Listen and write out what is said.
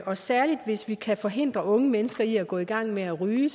og særlig hvis man kan forhindre unge mennesker i at gå i gang med at ryge